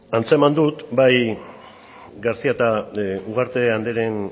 antzeman dut bai garcía eta ugarte andreen